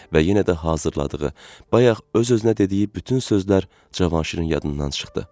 Və yenə də hazırladığı, bayaq öz-özünə dediyi bütün sözlər Cavanşirin yadından çıxdı.